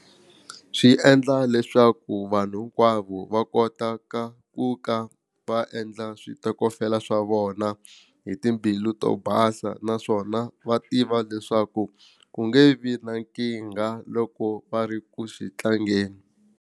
Swi endla leswaku vanhu hinkwavo va kota ka ku ka va endla switokofela swa vona hi timbilu to basa naswona va tiva leswaku ku nge vi na nkingha loko va ri ku xi tlangeni.